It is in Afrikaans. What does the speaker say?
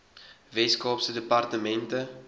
wes kaapse departement